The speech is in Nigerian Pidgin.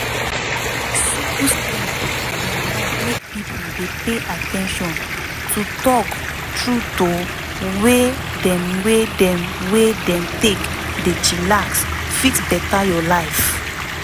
simple step dem like make pipo dey pay at ten tion to talk trueto way dem wey dem wey dem take dey chillax fit beta your life